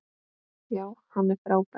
Já, hann er frábær.